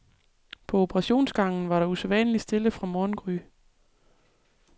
På operationsgangen var der usædvanlig stille fra morgengry.